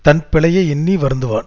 தன் பிழையை எண்ணி வருந்துவான்